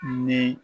Ni